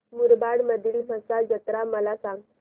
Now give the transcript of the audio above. मुरबाड मधील म्हसा जत्रा मला सांग